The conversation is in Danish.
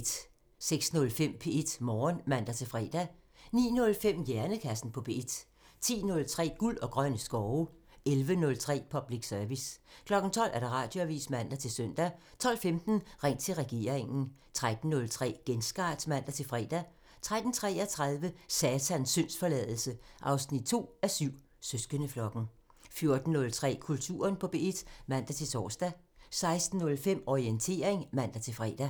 06:05: P1 Morgen (man-fre) 09:05: Hjernekassen på P1 (man) 10:03: Guld og grønne skove (man) 11:03: Public Service (man) 12:00: Radioavisen (man-søn) 12:15: Ring til regeringen (man) 13:03: Genstart (man-fre) 13:33: Satans syndsforladelse 2:7 – Søsterflokken 14:03: Kulturen på P1 (man-tor) 16:05: Orientering (man-fre)